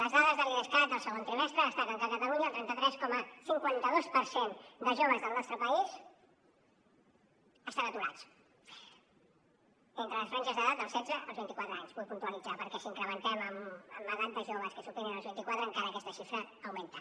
les dades de l’idescat del segon trimestre destaquen que a catalunya el trenta tres coma cinquanta dos per cent de joves del nostre país estan aturats entre les franges d’edat dels setze als vint i quatre anys vull puntualitzar ho perquè si ho incrementem amb edats de joves que superen els vint i quatre encara aquesta xifra augmenta